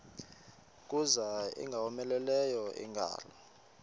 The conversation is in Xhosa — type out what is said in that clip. kuza ingowomeleleyo ingalo